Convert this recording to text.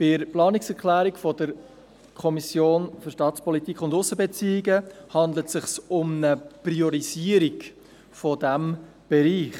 Bei der Planungserklärung der SAK handelt es sich um eine Priorisierung dieses Bereichs.